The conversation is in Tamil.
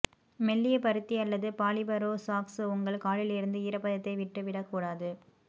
மெல்லிய பருத்தி அல்லது பாலிபரோ சாக்ஸ் உங்கள் காலில் இருந்து ஈரப்பதத்தை விட்டு விடக்கூடாது